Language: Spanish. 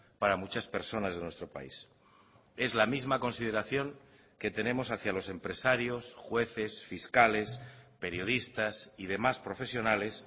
para muchas personas de nuestro país es la misma consideración que tenemos hacia los empresarios jueces fiscales periodistas y demás profesionales